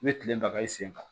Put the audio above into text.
I bɛ tile baga i sen kan